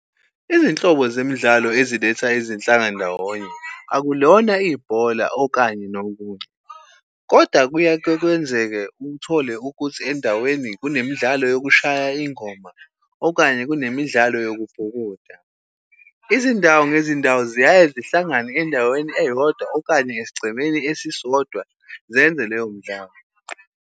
Izinhlobo zemidlalo eziletha izinhlanga ndawonye, akulona ibhola, okanye nokunye, kodwa kuyake kwenzeke uthole ukuthi endaweni kunemidlalo yokushaya ingoma, okanye kunemidlalo yokubhukuda. Izindawo ngezindawo ziyaye zihlangane endaweni eyodwa, okanye esigcemeni esisodwa zenze leyo mdlalo.